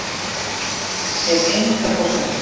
Hef enga forsendu.